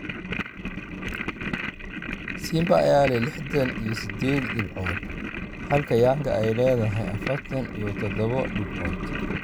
Simba ayaa leh lixdan iyo sideed dhibcood halka Yanga ay leedahay afartan iyo tadabo dhibcood.